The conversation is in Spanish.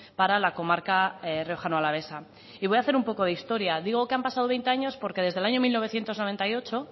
para la comarca riojano alavesa y voy a hacer un poco de historia digo que han pasado veinte años